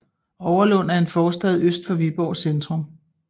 Overlund er en forstad øst for Viborg centrum